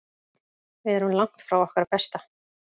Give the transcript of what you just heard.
Við erum langt frá okkar besta.